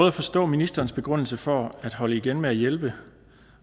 at forstå ministerens begrundelse for at holde igen med at hjælpe